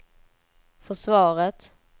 försvaret